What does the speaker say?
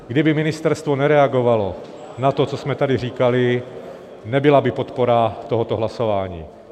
Kdyby ministerstvo nereagovalo na to, co jsme tady říkali, nebyla by podpora tohoto hlasování.